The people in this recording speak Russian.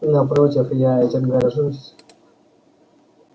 напротив я этим горжусь